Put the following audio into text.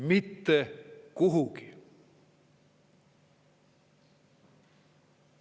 Mitte kuhugi.